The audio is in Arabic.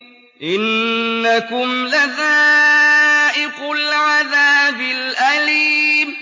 إِنَّكُمْ لَذَائِقُو الْعَذَابِ الْأَلِيمِ